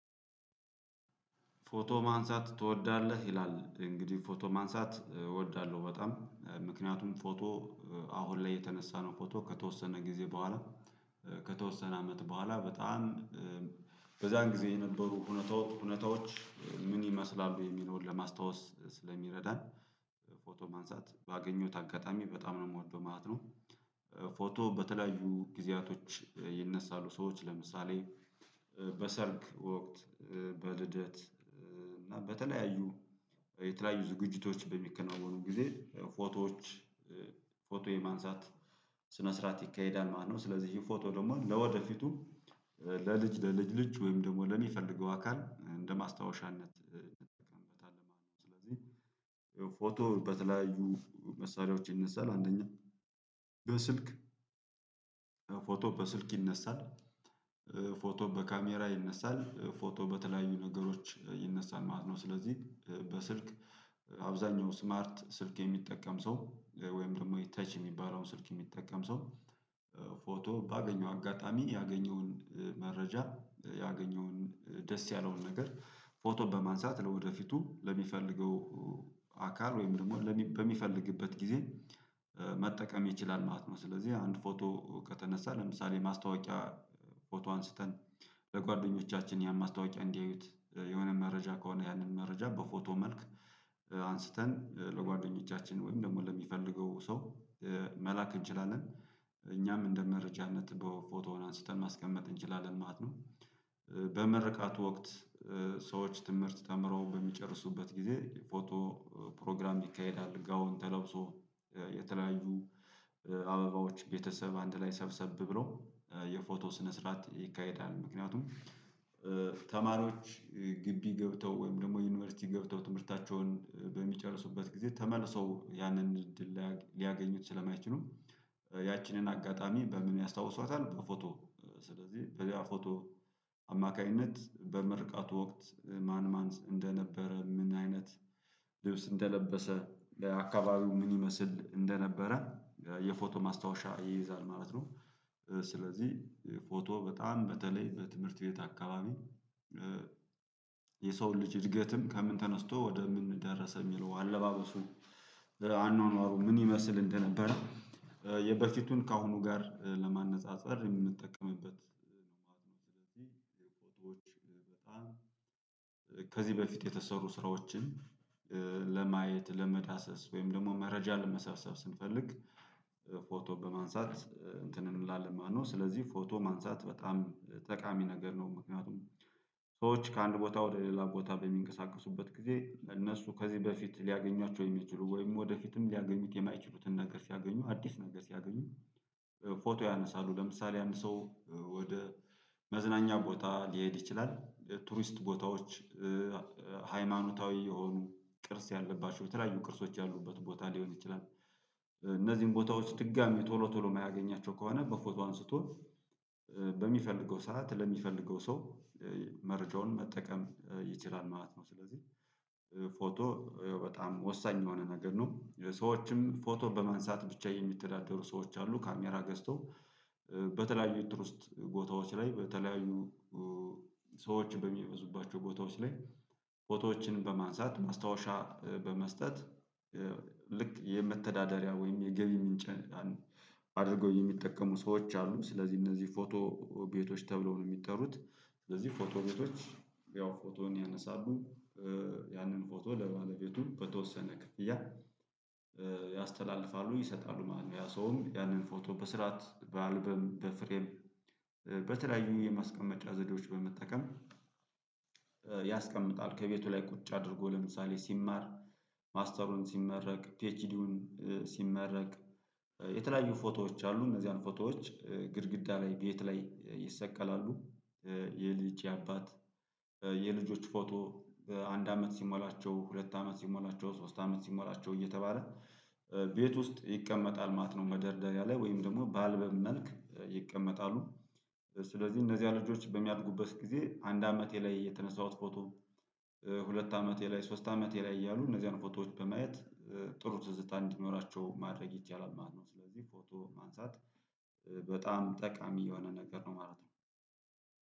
ፎቶ ማንሳት ትወዳለህ? ይላል እንግዲህ ፎቶ ማንሳት እወዳለሁ በጣም ምክንያቱም ፎቶ አሁን ላይ የተነሳነው ፎቶ ከተወሰነ ጊዜ በኋላ ከተወሰነ አመት በኋላ በጣም በዛን ጊዜ የነበሩ እውነታዎች ምን ይመስላሉ የሚለውን ለማስታወስ ስለሚረዳን። ፎቶ ማንሳት ባገኘሁት አጋጣሚ በጣም ነው የምወደው ማለት ነው። ፎቶ በተለያዩ ጊዜያቶች ይነሳሉ ሰዎች ለምሳሌ በሰርግ ወቅት በልደት እና በተለያዩ የተለያዩ ዝግጅቶች በሚከናወኑ ጊዜ ፎቶዎች ፎቶ የማንሳት ስነ ስርዓት ይካሄዳል። ማለት ነው። ስለዚህ ፎቶ ደግሞ ለወደፊቱም ለልጅ ለልጅ ልጅ ወይም ደግሞ ለሚፈልገው አካል እንደ ማስታወሻነት እንጠቀምበታለን ማለት ነው። ስለዚህ የፎቶ በተለያዩ መሳሪያዎች ይነሳል። አንደኛ በስልክ ፎቶ በስልክ ይነሳል። ፎቶ በካሜራ ይነሳል ፎቶ በተለያዩ ነገሮች ይነሳል ማለት ነው። ስለዚህ በስልክ አብዛኛው ስማርት ስልክ የሚጠቀም ሰው ወይም ደግሞ ተች የሚባለውን ስልክ የሚጠቀም ሰው። ፎቶ ባገኘው አጋጣሚ ያገኘውን መረጃ ያገኘውን ደስ ያለውን ነገር ፎቶን በማንሳት ለወደፊቱ ለሚፈልገው አካል ወይም ደግሞ በሚፈልግበት ጊዜ መጠቀም ይችላል ማለት ነው። ስለዚህ አንድ ፎቶ ከተነሳ ለምሳሌ ማስታወቂያ ፎቶ አንስተን ለጓደኞቻችን ያን ማስታወቂያ እንዲያዩት የሆነ መረጃ ከሆነ ያንን መረጃ በፎቶ መልክ አንስተን ለጓደኞቻችን ወይም ደግሞ ለሚፈልገው ሰው መላክ እንችላለን እኛም እንደ መረጃነት በፎቶውን አንስተን ማስቀመጥ እንችላለን ማለት ነው። በመርካት ወቅት ሰዎች ትምህርት ተምረው በሚጨርሱበት ጊዜ ፎቶ ፕሮግራም ይካሄዳል ጋውን ተለብሶ የተለያዩ አበባዎች ቤተሰብ አንድ ላይ ሰብሰብ ብሎ የፎቶ ስነ ስርዓት ይካሄዳል። ምክንያቱም ተማሪዎች ግቢ ገብተው ወይም ደግሞ ዩኒቨርሲቲ ገብተው ትምህርታቸውን በሚጨርሱበት ጊዜ ተመልሰው ያንን እድል ሊያገኙት ስለማይችሉ ያችንን አጋጣሚ በምን ያስታውሰዋታል። በፎቶ ስለዚህ በዚያ ፎቶ አማካኝነት በመርቃቱ ወቅት ማን ማን እንደነበረ ምን አይነት ልብስ እንደለበሰ ለአካባቢው ምን ይመስል እንደነበረ የፎቶ ማስታወሻ ይይዛል ማለት ነው። ስለዚህ ፎቶ በጣም በተለይ በትምህርት ቤት አካባቢ የሰውን ልጅ እድገትም ከምን ተነስቶ ወደ ምን ደረሰ የሚለው አለባበሱን አኗኗሩ ምን ይመስል እንደነበረ የበፊቱን ከአሁኑ ጋር ለማነፃፀር የምንጠቀምበት ስለዚህ። የፎቶዎች በጣም ከዚህ በፊት የተሰሩ ስራዎችን ለማየት ለመዳሰስ ወይም ደግሞ መረጃ ለመሰብሰብ ስንፈልግ ፎቶ በማንሳት እንትን እንላለን ማለት ነው። ስለዚህ ፎቶ ማንሳት በጣም ጠቃሚ ነገር ነው። ምክንያቱም ሰዎች ከአንድ ቦታ ወደ ሌላ ቦታ በሚንቀሳቀሱበት ጊዜ እነሱ ከዚህ በፊት ሊያገኟቸው የሚችሉ ወይም ወደፊትም ሊያገኙት የማይችሉትን ነገር ሲያገኙ አዲስ ነገር ሲያገኙ። ፎቶ ያነሳሉ ለምሳሌ አንድ ሰው ወደ መዝናኛ ቦታ ሊሄድ ይችላል። ቱሪስት ቦታዎች ሃይማኖታዊ የሆኑ ቅርስ ያለባቸው የተለያዩ ቅርሶች ያሉበት ቦታ ሊሆን ይችላል። እነዚህን ቦታዎች ድጋሚ ቶሎ ቶሎ የማያገኛቸው ከሆነ በፎቶ አንስቶ በሚፈልገው ሰዓት ለሚፈልገው ሰው መርጃውን መጠቀም ይችላል ማለት ነው። ስለዚህ ፎቶ ይኸው በጣም ወሳኝ የሆነ ነገር ነው። ሰዎችም ፎቶ በማንሳት ብቻ የሚተዳደሩ ሰዎች አሉ። ካሜራ ገዝተው በተለያዩ ኢንትሮስት ቦታዎች ላይ በተለያዩ ሰዎች በሚበዙባቸው ቦታዎች ላይ ፎቶዎችን በማንሳት ማስታወሻ በመስጠት ልክ የመተዳደሪያ ወይም የገቢ ምንጭ አድርጎ የሚጠቀሙ ሰዎች አሉ። ስለዚህ እነዚህ ፎቶ ቤቶች ተብለው ነው የሚጠሩት። ስለዚህ ፎቶ ቤቶች ያው ፎቶን ያነሳሉ ያንን ፎቶ ለባለቤቱ በተወሰነ ክፍያ ያስተላልፋሉ ይሰጣሉ ማለት ነው። ያ ሰውም ያንን ፎቶ በስርዓት በአልበም በፍሬም በተለያዩ የማስቀመጫ ዘዴዎች በመጠቀም ያስቀምጣል። ከቤቱ ላይ ቁጭ አድርጎ ለምሳሌ ሲማር ማስተሩን ሲመረቅ ፒኤችዲውን ሲመረቅ የተለያዩ ፎቶዎች አሉ እነዚያን ፎቶዎች ግድግዳ ላይ ቤት ላይ ይሰቀላሉ። የልጅ የአባት የልጆች ፎቶ አንድ አመት ሲሞላቸው ሁለት አመት ሲሞላቸው ሶስት አመት ሲሞላቸው እየተባለ ቤት ውስጥ ይቀመጣል ማለት ነው። መደርደሪያ ላይ ወይም ደግሞ በአልበም መልክ ይቀመጣሉ። ስለዚህ እነዚህ ልጆች በሚያድጉበት ጊዜ አንድ አመቴ ላይ የተነሳሁት ፎቶ ሁለት አመቴ ላይ ሶስት አመቴ ላይ እያሉ እነዚህን ፎቶዎች በማየት ጥሩ ትዝታ እንዲኖራቸው ማድረግ ይቻላል ማለት ነው። ስለዚህ ፎቶ ማንሳት በጣም ጠቃሚ የሆነ ነገር ነው ማለት ነው